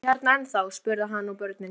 Eruð þið hérna ennþá? spurði hann börnin.